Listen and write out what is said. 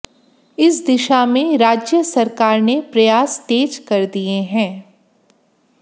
इस दिशा में राज्य सरकार ने प्रयास तेज कर दिए हैं